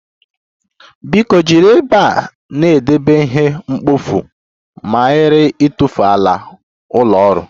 Biko jiri ebe a na-edebe ihe mkpofu ma ghara ịtụfu ala ụlọ ọrụ